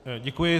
Děkuji.